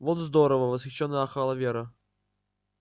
вот здорово восхищённо ахала вера